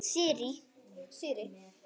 Sirrý